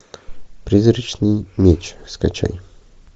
призрачный меч скачай